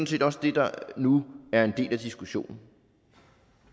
set også det der nu er en del af diskussionen